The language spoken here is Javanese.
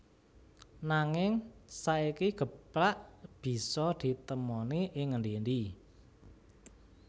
Nanging saiki geplak bisa ditemoni ing endi endi